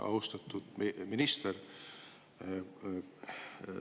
Austatud minister!